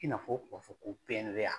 I n'a fɔ, u b'a ko